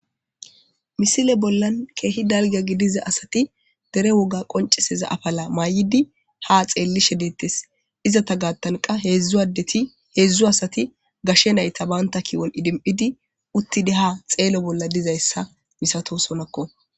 Missile bollani kehi darro giddida assati derre wogga qonicisidda afala ayiddi haa xelishe betesi. Izata giddo hedzu adeti hedzu gashe nayita banitta kiyoni wothidi ha xelosona.